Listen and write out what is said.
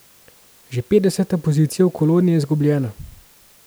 Že petdeseta pozicija v koloni je izgubljena.